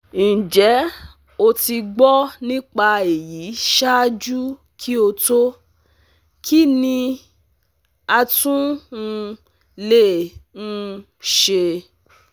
Njẹ o ti gbọ nipa eyi ṣaaju ki o to; Kín ni a tún um lè um ṣe?